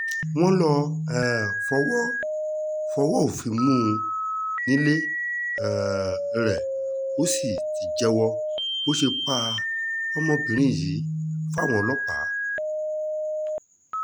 wọ́n lọ́ọ́ um fọwọ́ fọwọ́ òfin mú un nílé um rẹ̀ ó sì ti jẹ́wọ́ bó ṣe pa ọmọbìnrin yìí fáwọn ọlọ́pàá